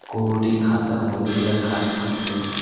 গরুটি খাঁসার মধ্যে থেকে ঘাস খাস্সে।